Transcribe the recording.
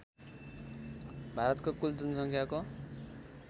भारतको कुल जनसङ्ख्याको